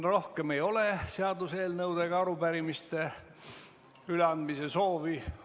Rohkem ei ole seaduseelnõude ja arupärimiste üleandmise soovi.